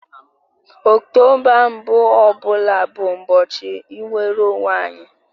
Ọktoba mbụ ọ bụla bụ ụbọchị nnwere onwe anyị